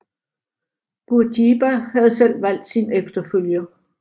Bourguiba havde selv valgt sin efterfølger